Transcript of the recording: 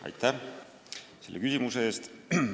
Aitäh selle küsimuse eest!